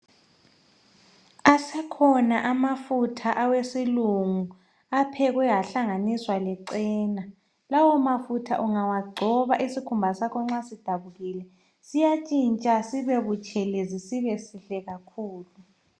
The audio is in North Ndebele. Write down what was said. Asekhona amafutha awesilungu aphekwe ahlanganiswa lechena. Lawo mafutha ungawagcoba, isikhumba sakho nxa sidabukile , siyatshintsha sibe butshelezi sibe sihle kakhulu.